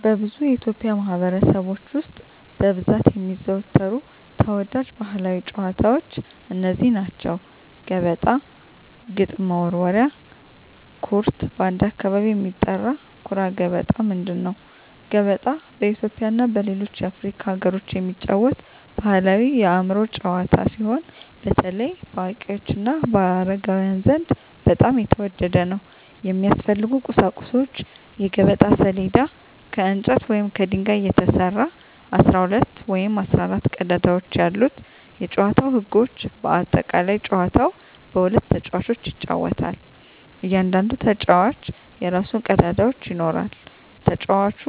በብዙ የኢትዮጵያ ማኅበረሰቦች ውስጥ በብዛት የሚዘወተሩ ተወዳጅ ባሕላዊ ጨዋታዎች እነዚህ ናቸው፦ ገበጣ ግጥም መወርወሪያ / ኩርት (በአንዳንድ አካባቢ የሚጠራ) ኩራ ገበጣ ምንድን ነው? ገበጣ በኢትዮጵያ እና በሌሎች የአፍሪካ አገሮች የሚጫወት ባሕላዊ የአእምሮ ጨዋታ ሲሆን፣ በተለይ በአዋቂዎች እና በአረጋውያን ዘንድ በጣም የተወደደ ነው። የሚያስፈልጉ ቁሳቁሶች የገበጣ ሰሌዳ: ከእንጨት ወይም ከድንጋይ የተሰራ፣ 12 ወይም 14 ቀዳዳዎች ያሉት የጨዋታው ህጎች (በአጠቃላይ) ጨዋታው በሁለት ተጫዋቾች ይጫወታል። እያንዳንዱ ተጫዋች የራሱን ቀዳዳዎች ይኖራል። ተጫዋቹ